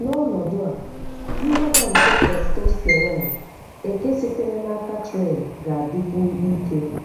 N'ọnọdụ a, mgbada nke testosterone eke sitere n'aka Tren ga-adikwu ike.